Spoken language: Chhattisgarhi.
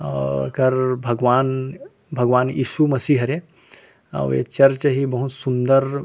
और एकर भगवान भगवान ईशु मसीह हरे अउ ए चर्च हे बहुत सुन्दर --